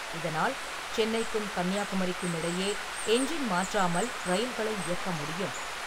இதனால், சென்னைக்கும் கன்னியாகுமரிக்கும் இடையே எஞ்சின் மாற்றாமல் ரயில்களை இயக்க முடியும்.